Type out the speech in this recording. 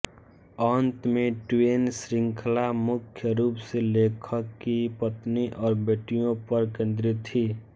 अंत में ट्वेन श्रृंखला मुख्य रूप से लेखक की पत्नी और बेटियों पर केंद्रित थी